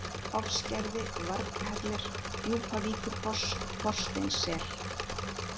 Hofsgerði, Varghellir, Djúpavíkurfoss, Þorsteinssel